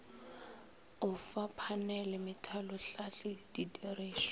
o fa phanele methalohlahli didirišwa